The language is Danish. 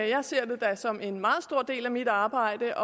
jeg ser det da som en meget stor del af mit arbejde